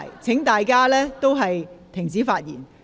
請大家停止發言。